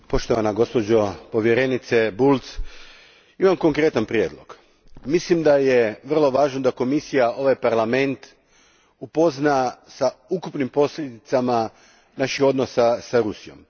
Gospodine predsjedniče, poštovana gospođo povjerenice Bulc, imam konkretan prijedlog. Mislim da je vrlo važno da Komisija ovaj Parlament upozna s ukupnim posljedicama naših odnosa s Rusijom.